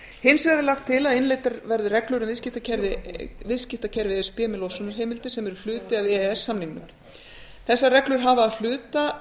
hins vegar er lagt til að innleiddar verði reglur um viðskiptakerfi e s b með losunarheimildir sem eru hluti af e e s samningnum þessar reglur hafa að hluta